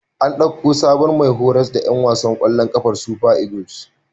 An ɗauko sabon mai horas da ƴan wasan ƙwallon ƙafar Super Eagles.